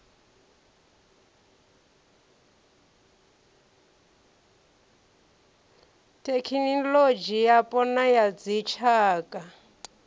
thekinolodzhi yapo na ya dzitshaka